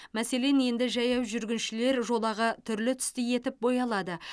мәселен енді жаяу жүргіншілер жолағы түрлі түсті етіп боялады